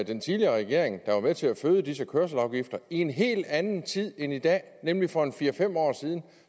den tidligere regering der var med til at føde disse kørselsafgifter i en helt anden tid end i dag nemlig for fire fem år siden